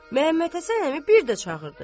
Məmmədhəsən əmi bir də çağırdı.